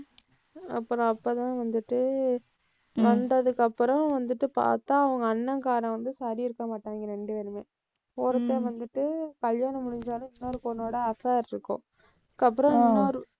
அப்புறம் அப்பதான் வந்துட்டு, வந்ததுக்கப்புறம் வந்துட்டு பாத்தா, அவங்க அண்ணன்காரன் வந்து சரி இருக்கமாட்டாங்க ரெண்டு பேருமே. ஒருத்தன் வந்துட்டு கல்யாணம் முடிஞ்சாலும் இன்னொரு பொண்ணோட affair இருக்கும். அதுக்கப்புறம் இன்னொரு